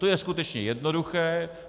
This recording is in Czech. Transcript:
To je skutečně jednoduché.